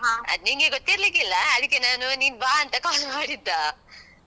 ಅದ್ ನಿಂಗೆ ಗೊತ್ತಿರ್ಲಿಕ್ಕಿಲ್ಲ, ಅದಕ್ಕೆ ನಾನು ನೀನ್ ಬಾ ಅಂತ call ಮಾಡಿದ್ದಾ.